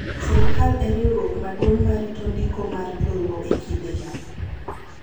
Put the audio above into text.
Sirkal e riwruok maduong’ ma rito ndiko mar lowo e kindegi.